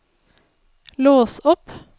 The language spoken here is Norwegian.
lås opp